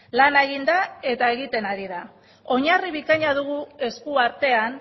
lana egin da eta egiten ari da oinarri bikaina dugu eskuartean